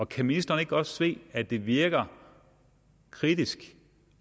kan ministeren ikke godt se at det virker kritisk